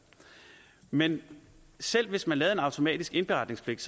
men selv hvis man laver en automatisk indberetningspligt